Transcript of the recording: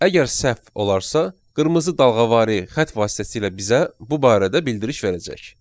Əgər səhv olarsa, qırmızı dalğavari xətt vasitəsilə bizə bu barədə bildiriş verəcək.